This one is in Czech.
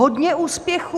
Hodně úspěchů!"